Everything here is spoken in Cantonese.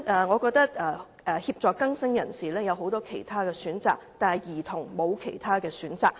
我認為協助更生人士有很多其他選擇，但兒童卻沒有其他選擇。